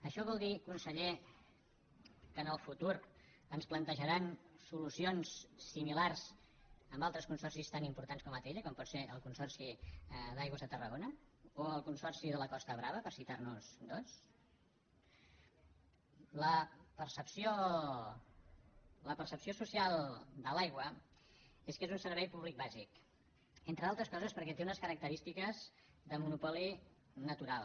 això vol dir conseller que en el futur ens plantejaran solucions similars amb altres consorcis tan importants com atll com pot ser el consor ci d’aigües de tarragona o el consorci de la costa brava per citar ne dos la percepció social de l’aigua és que és un servei públic bàsic entre altres coses perquè té unes característiques de monopoli natural